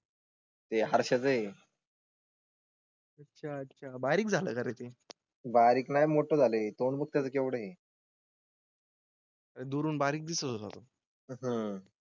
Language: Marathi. ते हर्षच आहे. अच्छा अच्छा बारीक झालं कारे ते बारीक मोठे झाले. तोंड बघ त्याच केवढं. दुरून बारीक दिसू शकतो आह.